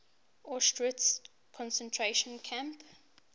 auschwitz concentration camp